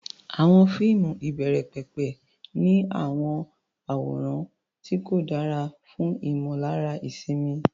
Àwọn fíìmù ìbẹ̀rẹ̀pẹ̀pẹ̀ ní àwọn àwòrán tí kò dára fún ìmọ̀lára ìsinmi.